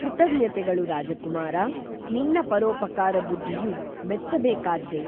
ಕೃತಜ್ಞತೆಗಳು ರಾಜಕುಮಾರಾ ನಿನ್ನ ಪರೋಪಕಾರ ಬುದ್ಧಿಯು ಮೆಚ್ಚ ಬೇಕಾದ್ದೆ